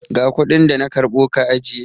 Ga kuɗin da na karɓo ka ajiye!